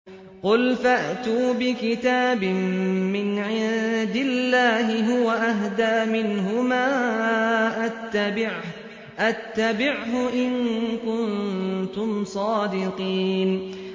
قُلْ فَأْتُوا بِكِتَابٍ مِّنْ عِندِ اللَّهِ هُوَ أَهْدَىٰ مِنْهُمَا أَتَّبِعْهُ إِن كُنتُمْ صَادِقِينَ